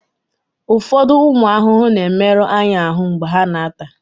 ụfọdụ ụmụ ahụhụ na-emerụ anyị ahụ mgbe ha na-ata